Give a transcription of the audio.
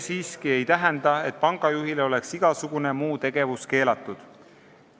See ei tähenda siiski, et pangajuhile oleks igasugune muu tegevus keelatud.